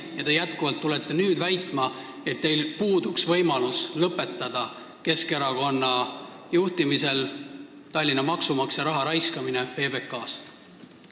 Ja te jätkuvalt väidate, et teil puudub Keskerakonna juhitavas Tallinnas võimalus lõpetada maksumaksja raha raiskamine PBK-s.